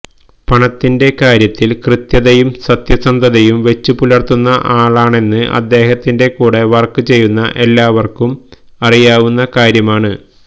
പണത്തിന്റെ കാര്യത്തില് കൃത്യതയും സത്യസന്ധതയും വെച്ചു പുലര്ത്തുന്ന ആളാണെന്ന് അദ്ദേഹത്തിന്റെ കൂടെ വര്ക്ക് ചെയ്ത ഏല്ലാവര്ക്കും അറിയാവുന്ന കാര്യമാണ്